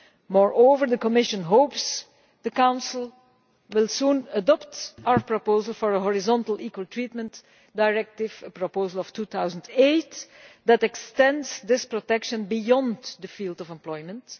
Moreover, the Commission hopes the Council will soon adopt our proposal for a horizontal Equal Treatment Directive, a proposal put forward in 2008, which extends this protection beyond the field of employment.